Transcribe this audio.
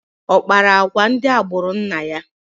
Ọ kpara agwa ndị agbụrụ nna ya?